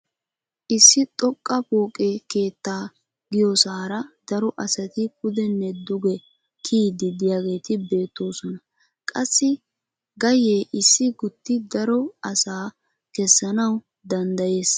Issi xooqqa pooqe keettaa kiyiyoosara daro asati pudenne duge kiyiidi de'iyaageti beettoosona. Qassi ha gayyee issi gutti daro asaa kessanawu danddayees.